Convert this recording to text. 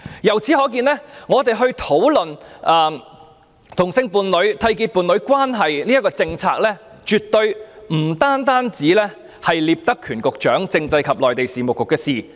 由此可見，當討論同性伴侶締結伴侶關係的政策時，絕對不單涉及聶德權局長所負責的政制及內地事務局。